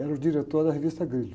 Era o diretor da revista Grilo.